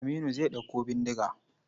Aminu zai ɗauko bindiga.